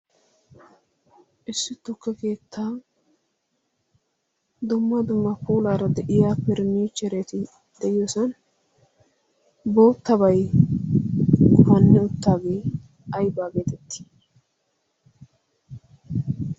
Issi tukke keettan dumma dumma puulara de'iyaara faranichchereti de'oosona. boottabay gufani uttaaage aybba getetti?